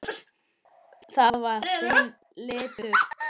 Það var þinn litur.